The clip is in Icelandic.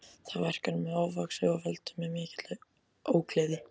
Það verk er mér ofvaxið og veldur mér ógleði mikilli.